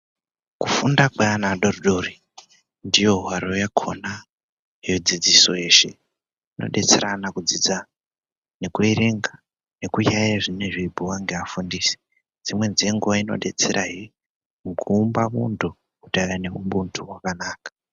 Kufunda kweana adodori ndiyo hwaro yakona yedzidziso yeshe inobetsera ana kudzidza nekuerenga, nekuyayeya zvinenge zveibhuyiwa ngeafundisi dzimweni dzenguva inobetsera he kuumba muntu kuti ave nehubuntu hwakanaka.